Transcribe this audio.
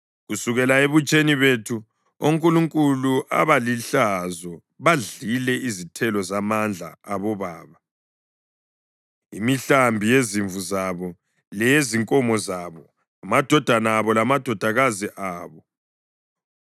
Kusukela ebutsheni bethu onkulunkulu abalihlazo badlile izithelo zamandla abobaba, imihlambi yezimvu zabo leyezinkomo zabo, amadodana abo lamadodakazi abo.